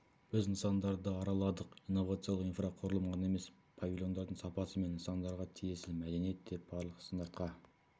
біз нысандарды араладық инновациялық инфрақұрылым ғана емес павильондардың сапасы мен нысандарға тиесілі мәдениет те барлық стандартқа